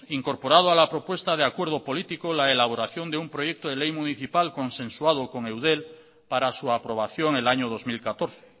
incorporado a la propuesta de acuerdo político la elaboración de un proyecto de ley municipal consensuado con eudel para su aprobación el año dos mil catorce